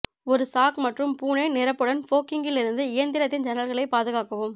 ஒரு சாக் மற்றும் பூனை நிரப்புடன் ஃபோகிங்கிலிருந்து இயந்திரத்தின் ஜன்னல்களைப் பாதுகாக்கவும்